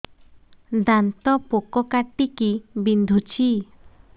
ଦାନ୍ତ ପୋକ କାଟିକି ବିନ୍ଧୁଛି